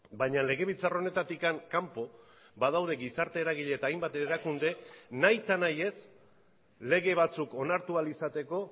baina legebiltzar honetatik kanpo badaude gizarte eragile eta hainbat erakunde nahitanahiez lege batzuk onartu ahal izateko